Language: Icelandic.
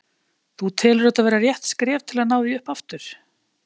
Þú telur þetta vera rétt skref til að ná því upp aftur?